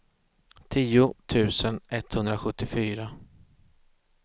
tio tusen etthundrasjuttiofyra